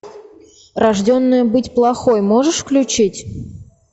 рожденная быть плохой можешь включить